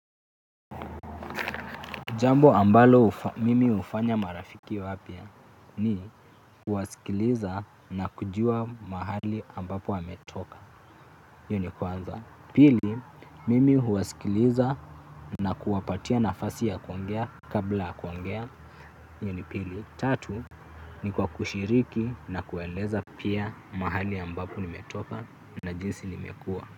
Jambo ambalo mimi hufanya marafiki wapya ni kuwasikiliza na kujua mahali ambapo wametoka hio ni kwanza. Pili mimi huwasikiliza na kuwapatia nafasi ya kuongea kabla kuongea hio ni pili. Tatu ni kwa kushiriki na kueleza pia mahali ambapo nimetoka na jinsi nimekua.